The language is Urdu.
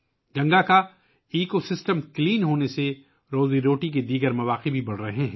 گنگا کا ماحولیاتی نظام صاف ہونے کی وجہ سے روزگار کے دیگر مواقع بھی بڑھ رہے ہیں